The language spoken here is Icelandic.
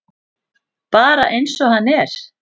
Bara eins og hann er.